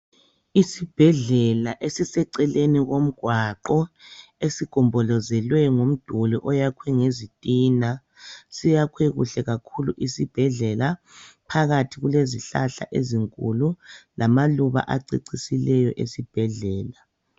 Isibhedlela esiseeceleni komgqwaqo esigobhozelwe ngomduli oyakwe ngezitina siyakwe kuhle kakhulu isibhedlela phakathi kulezihlahla ezinkulu lamaluba acecisileyo esibhedlela.